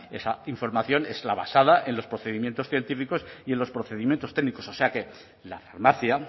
esa información es la basada en los procedimientos científicos y en los procedimientos técnicos o sea que la farmacia